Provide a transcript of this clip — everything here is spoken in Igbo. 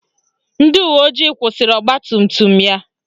Ndị uweojii kwụsịrị ọgbatumtum ya